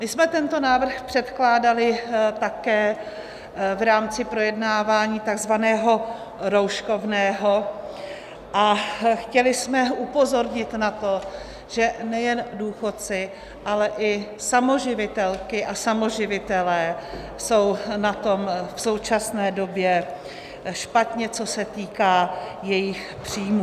My jsme tento návrh předkládali také v rámci projednávání takzvaného rouškovného a chtěli jsme upozornit na to, že nejen důchodci, ale i samoživitelky a samoživitelé jsou na tom v současné době špatně, co se týká jejich příjmů.